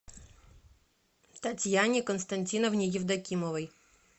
татьяне константиновне евдокимовой